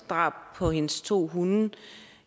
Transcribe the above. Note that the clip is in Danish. drab på hendes to hunde